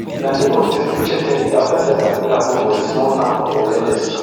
na neighbours rescue cheptegei afta di attack wey happun for di small town of endebess